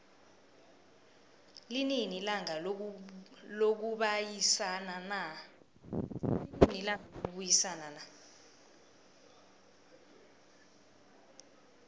linini ilanga lokubayisana na